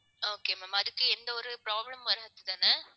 okay ma'am அதுக்கு எந்த ஒரு problem வராது தானே